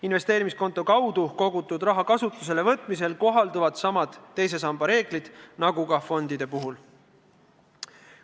Investeerimiskontole kogutud raha kasutuselevõtmisel kohalduvad samad teise samba reeglid nagu ka fondide puhul.